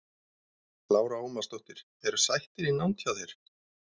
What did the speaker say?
Lára Ómarsdóttir: Eru sættir í nánd hjá þér?